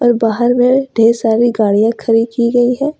ये बाहर में ढेर सारी गाड़ियां खड़ी की गई है।